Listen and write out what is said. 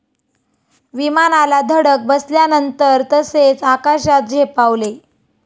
विमानाला धडक बसल्यानंतर तसेच आकाशात झेपावले.